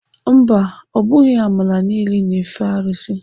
Mba, ọ bụghị amaala niile na-efe arụsị.